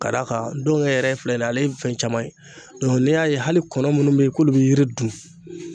Ka d'a kan dɔngɛ yɛrɛ filɛ nin ye ale ye fɛn caman ye dɔnku n'e y'a ye hali kɔnɔ munnu be yen k'olu be yiri dun